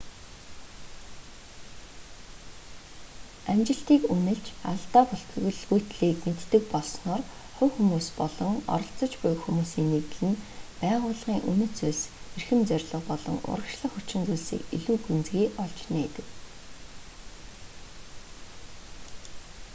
амжилтыг үнэлж алдаа бүтэлгүйтлийг мэддэг болсноор хувь хүмүүс болон оролцож буй хүмүүсийн нэгдэл нь байгууллагын үнэт зүйлс эрхэм зорилго болон урагшлах хүчин зүйлсийг илүү гүнзгий олж нээдэг